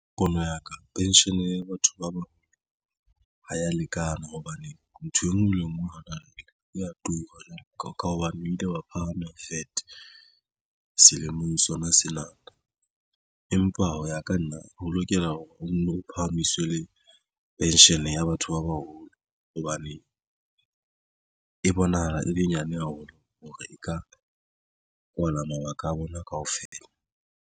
Pono ya ka pension ya batho ba bona ha ya lekana hobane ntho engwe le ngwe ya tura ka hobane o ile wa phahama VAT selemong sona sena empa ho ya ka nna ho lokela hore o no phahamiswe le pension ya batho ba baholo hobane e bonahala e le nyane haholo hore e ka kwala mabaka a bona kaofela.